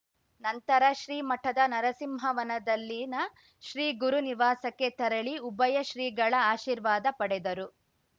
ನಂತರ ಶ್ರೀ ಮಠದ ನರಸಿಂಹವನದಲ್ಲಿನ ಶ್ರೀ ಗುರುನಿವಾಸಕ್ಕೆ ತೆರಳಿ ಉಭಯ ಶ್ರೀಗಳ ಆಶೀರ್ವಾದ ಪಡೆದರು